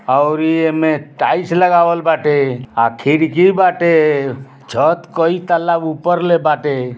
और एमे टाइल्स लगावल बाटे। आ खिड़की बाटे। छत कई तल्ला ऊपर ले बाटे।